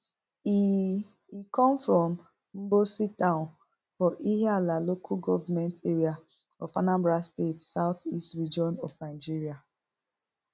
e e come from mbosi town for ihiala local government area of anambra state south east region of nigeria